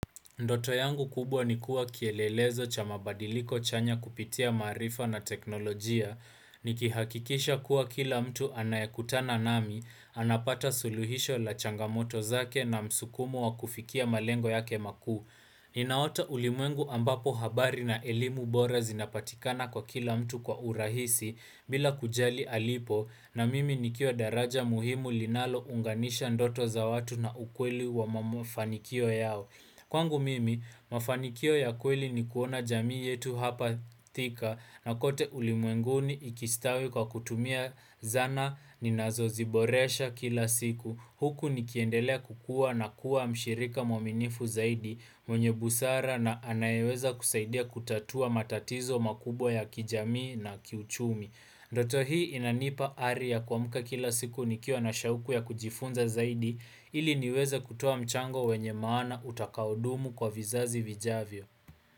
Ndoto yangu kubwa nikua kielelezo cha mabadiliko chanya kupitia marifa na teknolojia. Nikihakikisha kuwa kila mtu anayakutana nami, anapata suluhisho la changamoto zake na msukumo wa kufikia malengo yake makuu. Ninaota ulimwengu ambapo habari na elimu bora zinapatikana kwa kila mtu kwa urahisi, bila kujali alipo, na mimi nikiwa daraja muhimu linalo unganisha ndoto za watu na ukweli wa mamofanikio yao. Kwangu mimi, mafanikio ya kweli ni kuona jamii yetu hapa thika na kote ulimwenguni ikistawi kwa kutumia zana ni nazo ziboresha kila siku. Huku nikiendelea kukua na kuwa mshirika mwaminifu zaidi mwenye busara na anayeweza kusaidia kutatua matatizo makubwa ya kijamii na kiuchumi. Ndoto hii inanipa ari ya kwa muka kila siku nikiwa na shauku ya kujifunza zaidi, ili niweze kutoa mchango wenye maana utakaudumu kwa vizazi vijavyo.